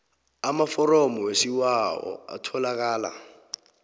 amaforomo wesibawo atholakala